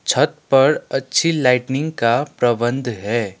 छत पर अच्छी लाइटनिंग का प्रबंध है।